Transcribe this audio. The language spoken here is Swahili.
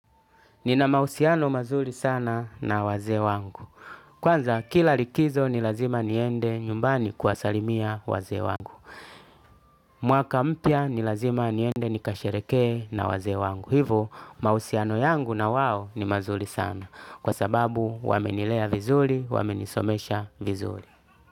Nina mahusiano mazuri sana na wazee wangu. Kwanza kila likizo ni lazima niende nyumbani kuwasalimia wazee wangu. Mwaka mpya n ilazima niende nikashehereke na wazee wangu. Hivyo, mahusiano yangu na wao ni mazuri sana. Kwa sababu wamenilea vizuri, wamenisomesha vizuri.